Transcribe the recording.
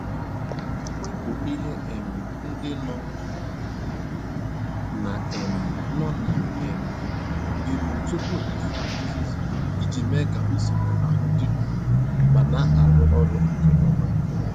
Wepụ ihe um ndị no na um no na um elu tupu ịsa uzuzu iji mee ka usoro ahụ dị nro ma na-arụ ọrụ nke ọma.